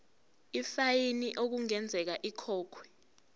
ifayini okungenzeka ikhokhwe